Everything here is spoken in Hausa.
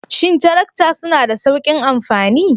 Shin tarakta suna da sauƙin amfani?